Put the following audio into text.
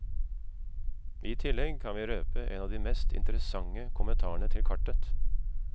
I tillegg kan vi røpe en av de mest interessante kommentarene til kartet.